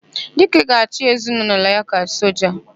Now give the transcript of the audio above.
Dike ga-achị ezinaụlọ ya ka soja.